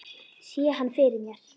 Sé hann fyrir mér.